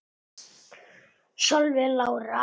Solveig Lára.